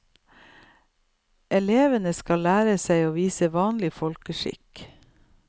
Elevene skal lære seg å vise vanlig folkeskikk.